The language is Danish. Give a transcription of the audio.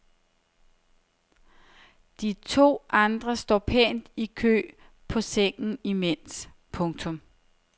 De to andre står pænt i kø på sengen imens. punktum